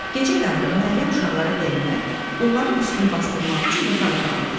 Gecə yarı Məryəm uşaqlara dəymək, onların üstünü basdırmaq üçün yataq otağına keçdi.